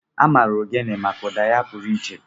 A maara ogene maka ụda ya pụrụ iche.